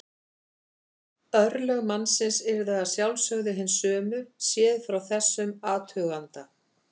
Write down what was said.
Örlög mannsins yrðu að sjálfsögðu hin sömu séð frá þessum athuganda.